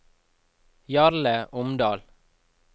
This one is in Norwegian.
Jarle Omdal